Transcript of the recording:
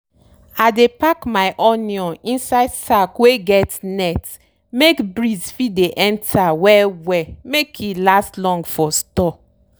i dey pack my onion inside sack wey get net make breeze fit dey enter well well make e last long for store.